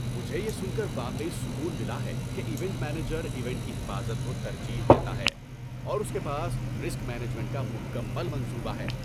مجھے یہ سن کر واقعی سکون ملا ہے کہ ایونٹ مینیجر ایونٹ کی حفاظت کو ترجیح دیتا ہے اور اس کے پاس رسک مینجمنٹ کا مکمل منصوبہ ہے۔